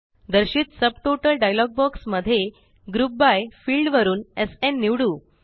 दर्शित subtotal dialog box मध्ये group by field वरुन एसएन निवडू